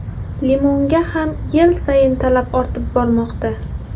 Limonga ham yil sayin talab ortib bormoqda.